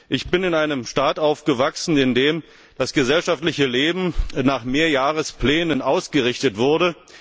Ich bin in einem Staat aufgewachsen, in dem das gesellschaftliche Leben nach Mehrjahresplänen ausgerichtet wurde.